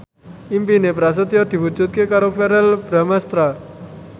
impine Prasetyo diwujudke karo Verrell Bramastra